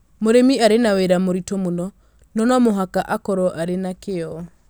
Mũrĩmi arĩ na wĩra mũritũ mũno, no no mũhaka akorũo arĩ na kĩyo